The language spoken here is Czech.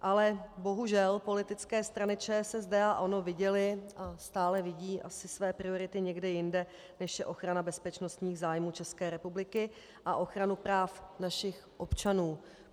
Ale bohužel politické strany ČSSD a ANO viděly a stále vidí asi své priority někde jinde, než je ochrana bezpečnostních zájmů České republiky a ochrana práv našich občanů.